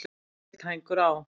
Aðeins er einn hængur á.